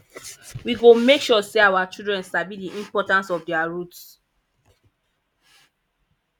we go make sure say our children sabi the importance of their roots